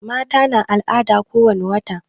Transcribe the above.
Mata na al'ada ko wani wata